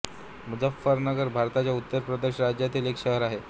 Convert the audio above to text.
मुझफ्फरनगर भारताच्या उत्तर प्रदेश राज्यातील एक शहर आहे